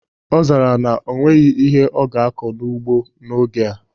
Ọ zara na o nweghị ihe ọ ga-akọ n'ugbo n'oge a